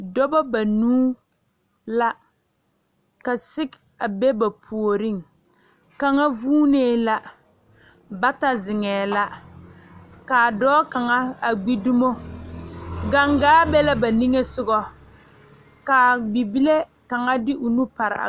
Dɔba banuu la ka sege a be ba puoriŋ kaŋa vuunee la bata zeŋɛɛ la ka dɔɔ kaŋa gbi dumo gangaa be la ba niŋesogɔ ka bibile kaŋa de o nu pare a.